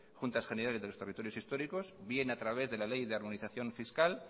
juntas generales de los territorios históricos bien a través de la ley de harmonización fiscal